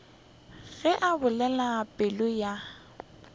ge a bolela polelo ya